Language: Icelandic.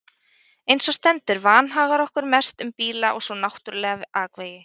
Einsog stendur vanhagar okkur mest um bíla og svo náttúrlega akvegi.